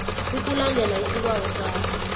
ukulandela isibawo sakho